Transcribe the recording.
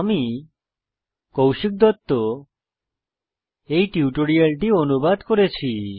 আমি কৌশিক দত্ত এই টিউটোরিয়ালটি অনুবাদ করেছি